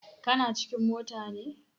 Kana cikin mota ne?